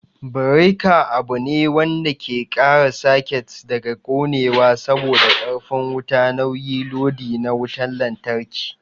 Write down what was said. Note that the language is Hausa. Bereka abune wanda ke kare saket daga konewa saboda karfi wuta nauyi lodi na wutan lantraki